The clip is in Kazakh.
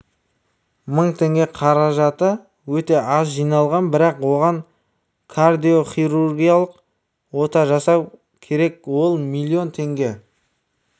мың теңге қаражаты өте аз жиналған бірақ оған кардиохирургиялық ота жасау керек ол миллион теңге